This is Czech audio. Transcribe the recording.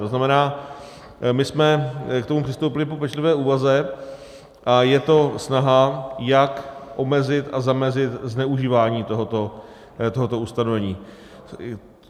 To znamená, my jsme k tomu přispěli po pečlivé úvaze a je to snaha, jak omezit a zamezit zneužívání tohoto ustanovení.